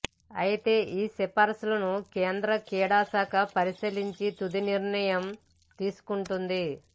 అయితే ఈ సిఫార్సులను కేంద్ర క్రీడాశాఖ పరిశీలించి తుది నిర్ణయం తీసుకుంటుంది